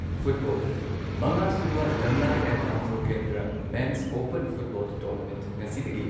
football ꯃꯉꯥ ꯁꯨꯕ ꯂꯝꯂꯥꯏ N Andro Kendra men's open football tournament ꯉꯁꯤꯗꯒꯤ